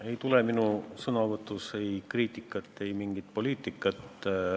Ei tule minu sõnavõtus kriitikat ega mingit poliitikat.